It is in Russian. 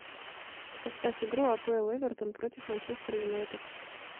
поставь игру апл эвертон против манчестер юнайтед